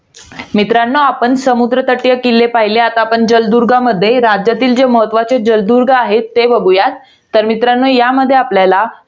मित्रांनो आपण समुद्र तटीय किल्ले पहिले. आता आपण जलदुर्गामध्ये राज्यातील जे महत्वाचे जलदुर्ग आहेत ते बघुयात. तर त्यामध्ये आपल्याला